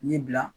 Ni bila